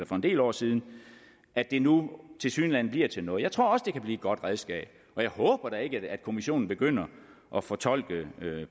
for en del år siden at det nu tilsyneladende bliver til noget jeg tror også det kan blive et godt redskab og jeg håber da ikke at kommissionen begynder at fortolke